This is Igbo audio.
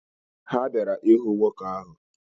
Ha bịara ịhụ nwoke ahụ.